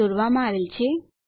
સાથે દોરવામાં આવેલ છે